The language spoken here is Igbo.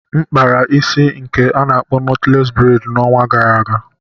M kpara isi nke a na-akpọ knotless braid n'ọnwa gara aga.